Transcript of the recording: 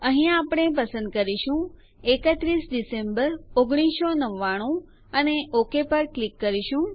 અહીંયા આપણે પસંદ કરીશું 31 ડેક 1999 અને ઓક પર ક્લિક કરીશું